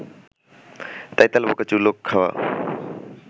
তাই তেলাপোকা চুল খাওয়া